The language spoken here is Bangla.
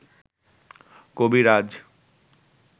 কবিরাজ